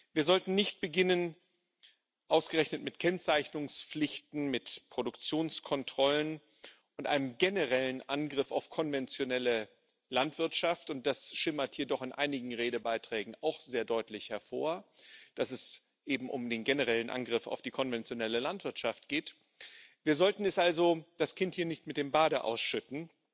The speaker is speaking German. Wir sollten nicht beginnen ausgerechnet mit Kennzeichnungspflichten, mit Produktionskontrollen und einem generellen Angriff auf konventionelle Landwirtschaft und das schimmert hier doch in einigen Redebeiträgen auch sehr deutlich hervor, dass es eben um den generellen Angriff auf die konventionelle Landwirtschaft geht wir sollten hier das Kind nicht mit dem Bade ausschütten